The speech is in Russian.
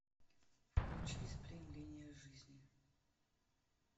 включи сплин линия жизни